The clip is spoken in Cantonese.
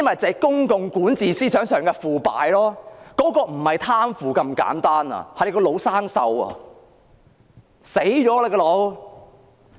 這是公共管治思想上的腐敗，而且不是貪腐那麼簡單，是腦袋死亡。